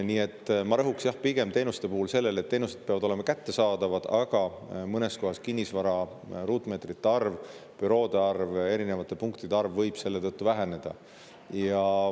Nii et ma rõhuksin teenuste puhul pigem sellele, et teenused peavad olema kättesaadavad, aga mõnes kohas võib kinnisvara ruutmeetrite arv, büroode arv, erinevate punktide arv väheneda.